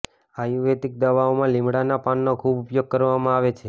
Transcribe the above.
આયુર્વેદિક દવાઓમાં લીમડાના પાનનો ખૂબ ઉપયોગ કરવામાં આવે છે